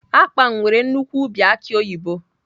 Akpan nwere nnukwu ubi aki oyibo